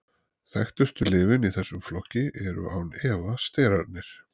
Þekktustu lyfin í þessum flokki eru án efa sterarnir.